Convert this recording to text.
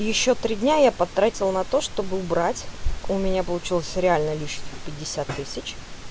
ещё три дня я потратила на то чтобы убрать у меня получилось реально лишних пятьдесят тысяч